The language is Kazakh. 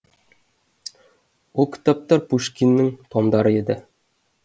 ол кітаптар пушкиннің томдары еді